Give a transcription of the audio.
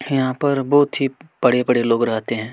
यहाँ पर बहुत ही बड़े-बड़े लोग रहते हैं।